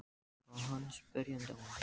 Svo horfði hann spyrjandi á mig.